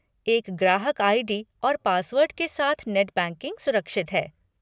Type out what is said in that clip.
एक ग्राहक आई.डी. और पासवर्ड के साथ नेट बैंकिंग सुरक्षित है।